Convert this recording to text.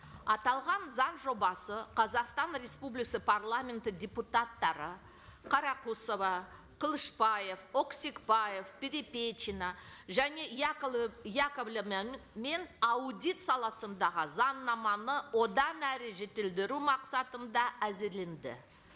аталған заң жобасы қазақстан парламенті депутаттары қарақұсова қылышбаев өксікбаев перепечина және мен аудит саласындағы заңнаманы одан әрі жетілдіру мақсатында әзірленді